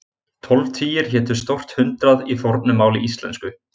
Tólf tugir hétu stórt hundrað í fornu máli íslensku.